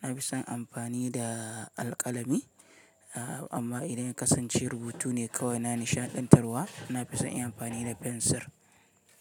na fi son amfani da alƙalami. Amma idan ya kasance rubutu ne kawai na nishaɗantarwa, na fi son in amfani da fensir.